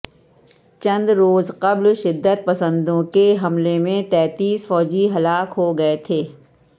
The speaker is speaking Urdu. چند روز قبل شدت پسندوں کے حملے میں تینتیس فوجی ہلاک ہو گئے تھے